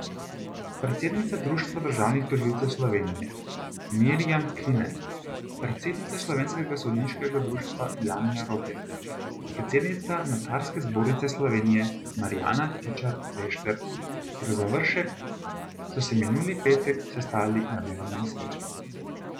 Predsednica Društva državnih tožilcev Slovenije Mirjam Kline, predsednica Slovenskega sodniškega društva Janja Roblek, predsednica Notarske zbornice Slovenije Marjana Tičar Bešter ter Završek so se minuli petek sestali na delovnem srečanju.